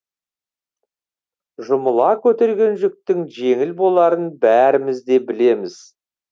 жұмыла көтерген жүктің жеңіл боларын бәріміз де білеміз